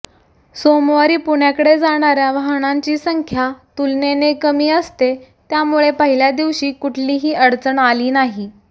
सोमवारी पुण्याकडे जाणार्या वाहनांची संख्या तुलनेने कमी असते त्यामुळे पहिल्या दिवशी कुठलीही अडचण आली नाही